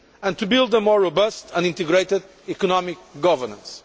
and to build more robust and integrated economic governance.